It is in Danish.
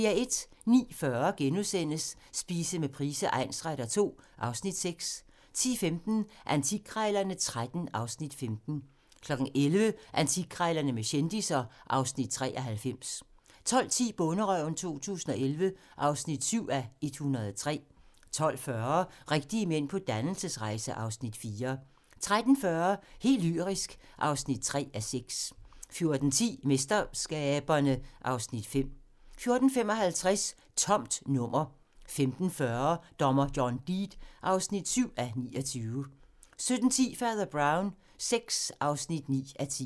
09:40: Spise med Price egnsretter II (Afs. 6)* 10:15: Antikkrejlerne XIII (Afs. 15) 11:00: Antikkrejlerne med kendisser (Afs. 93) 12:10: Bonderøven 2011 (7:103) 12:40: Rigtige mænd på dannelsesrejse (Afs. 4) 13:40: Helt lyrisk (3:6) 14:10: MesterSkaberne (Afs. 5) 14:55: Tomt nummer 15:40: Dommer John Deed (7:29) 17:10: Fader Brown VI (9:10)